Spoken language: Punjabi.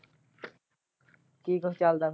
ਕੀ ਕੁਝ ਚਲਦਾ?